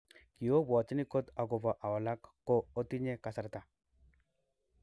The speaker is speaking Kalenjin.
Kiobwotini got agopo awalak. Kot ootinye kasarta.